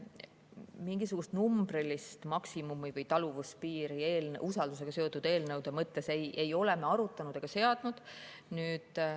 Mingisugust numbrilist maksimumi või taluvuspiiri usaldus seotud eelnõude mõttes ei ole me arutanud ega seadnud.